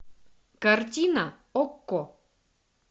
картина окко